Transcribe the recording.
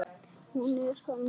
Hún er þannig